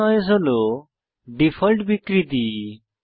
soft noise হল default বিকৃতি